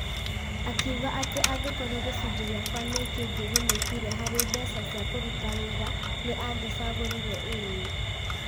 Akiuga atĩ angĩkorwo gĩcigo gĩakwa nĩ kĩngĩgunĩkire harĩ mbeca cia kũruta wĩra, nĩ angĩacagũrire ĩĩ.